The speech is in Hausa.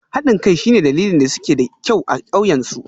Haɗin kai shine dalilin da suke da kyau a ƙauyen su